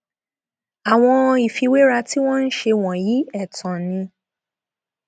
àwọn ìfiwéra tí wọn ń ṣe wọnyí ẹtàn ni